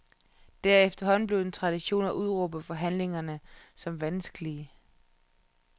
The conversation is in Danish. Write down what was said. Det er efterhånden blevet en tradition at udråbe forhandlingerne som vanskelige.